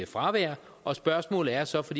fravær og spørgsmålet er så for